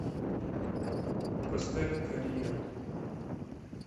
поставь карьер